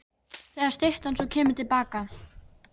Þegar styttan svo kemur til baka til